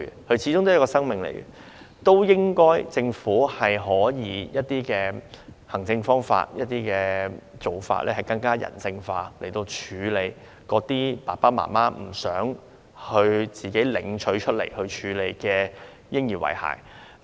嬰兒始終是一個生命，政府應該可以利用一些行政方法，更人性化地處理那些父母不想自行處理的嬰兒遺骸。